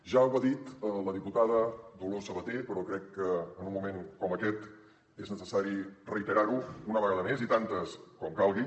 ja ho ha dit la diputada dolors sabater però crec que en un moment com aquest és necessari reiterar ho una vegada més i tantes com calgui